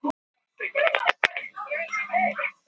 Þau gátu kúrt hér óáreitt.